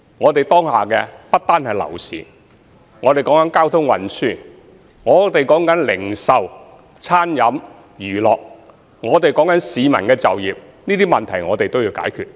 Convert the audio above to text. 我們當下的問題不單是樓市，還有交通運輸、零售、餐飲和娛樂等問題，更有市民就業的問題，這些問題都必須解決。